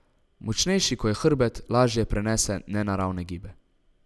Močnejši ko je hrbet, lažje prenese nenaravne gibe.